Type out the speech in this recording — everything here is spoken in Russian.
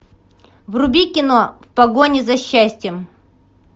вруби кино в погоне за счастьем